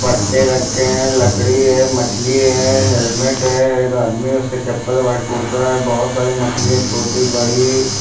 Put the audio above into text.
पट्टे रखे हैं लकड़ी है मछली है हेलमेट है एक आदमी उसके चप्पल व्हाइट कुर्ता है बहोत सारी मछली हैं छोटी बड़ी--